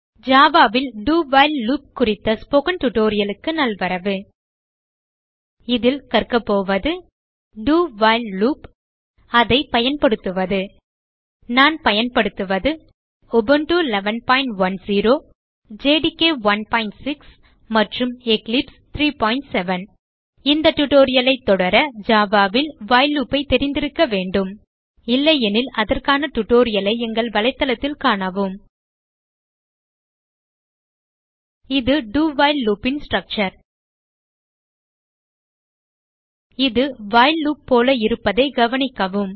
Java ல் do while loop குறித்த spoken tutorial க்கு நல்வரவு இதில் கற்கபோவது do வைல் லூப் அதை பயன்படுத்துவது நான் பயன்படுத்துவது உபுண்டு 1110 ஜேடிகே 16 மற்றும் எக்லிப்ஸ் 37 இந்த tutorial ஐ தொடர Java ல் வைல் லூப் ஐ தெரிந்திருக்க வேண்டும் இல்லையெனில் அதற்கான tutorial ஐ எங்கள் வலைத்தளத்தில் காணவும இது do வைல் loop ன் ஸ்ட்ரக்சர் இது வைல் லூப் போல இருப்பதை கவனிக்கவும்